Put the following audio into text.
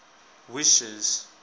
wishes